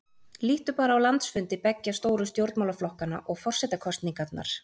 Líttu bara á landsfundi beggja stóru stjórnmálaflokkanna og forsetakosningarnar.